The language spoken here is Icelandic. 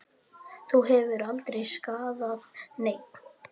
Það hefur aldrei skaðað neinn.